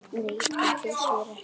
Nei, það finnst mér ekki.